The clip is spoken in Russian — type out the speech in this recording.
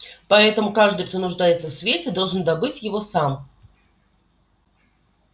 поэтому каждый кто нуждается в свете должен добыть его сам